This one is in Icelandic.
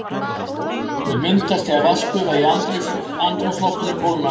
Þau myndast þegar vatnsgufa í andrúmsloftinu kólnar.